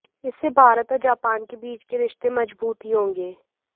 इससे भारत और जापान के बीच के रिश्ते मजबूत ही होंगे